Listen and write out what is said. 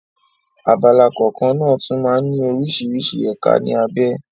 Abala kọ̀ọ̀kan náà tún máa ń ní oríṣiríṣi ẹ̀ka ní abé.